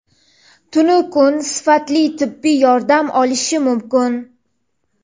tunu kun sifatli tibbiy yordam olishi mumkin.